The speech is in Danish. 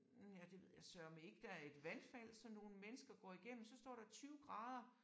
Hm ja det ved jeg sørme ikke. Der er et vandfald som nogle mennesker går igennem så står der 20 grader